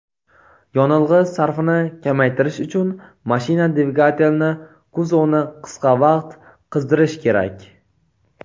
yonilg‘i sarfini kamaytirish uchun mashina dvigatelini kuzovni qisqa vaqt qizdirish kerak.